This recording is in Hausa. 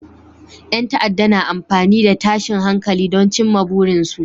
Yan ta'adda na amfani da tashin hankali don cimma burinsu